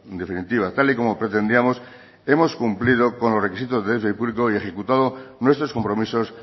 definitiva tal y como pretendíamos hemos cumplido con los requisitos de déficit público y ejecutado nuestros compromisos